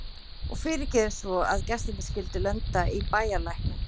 Og fyrirgefðu svo að gestirnir skyldu lenda í bæjarlæknum.